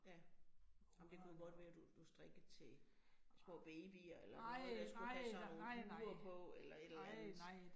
Ja, ej men det kunne jo godt være, du du strikkede til små babyer eller noget, der skulle have sådan nogle huer på eller et eller andet